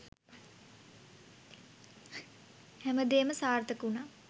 හැමදේම සාර්ථක වුණා.